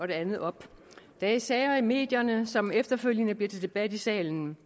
det andet op der er sager i medierne som efterfølgende bliver til debat i salen